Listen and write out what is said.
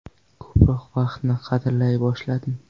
Ko‘proq vaqtni qadrlay boshladim.